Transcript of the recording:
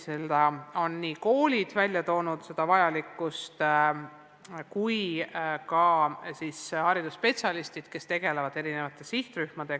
Selle vajalikkust on välja toonud nii koolid kui ka haridusspetsialistid, kes tegelevad eri sihtrühmadega.